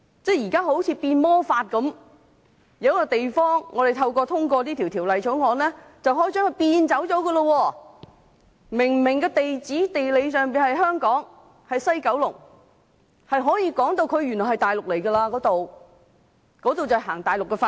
現在好像變魔法一樣，透過《條例草案》就可以將一個地方變走，明明地址和地理上是香港的西九龍，卻可以把它說成是大陸地區，實行內地法律。